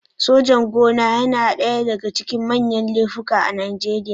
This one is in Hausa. Sojan-gona yana ɗaya daga cikin manyan laifuka a Najeriya.